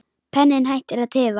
Penninn hættir að tifa.